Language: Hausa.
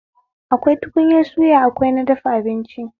Akwai tukunyar suya akwai na dafa abinci